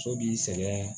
So b'i sɛgɛn